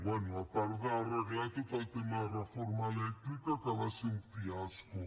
bé a part d’arreglar tot el tema de reforma elèctrica que va ser un fiasco